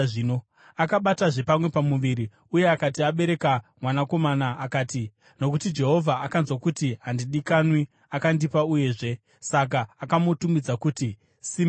Akabatazve pamwe pamuviri, uye akati abereka mwanakomana, akati, “Nokuti Jehovha akanzwa kuti handidikanwi, akandipa uyuzve.” Saka akamutumidza kuti Simeoni.